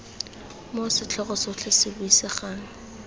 moo setlhogo sotlhe se buisegang